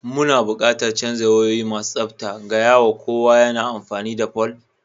Muna buƙatar canza wayoyi masu tsabta, gaya wa kowa yana amfani da fol.